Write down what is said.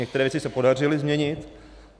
Některé věci se podařilo změnit.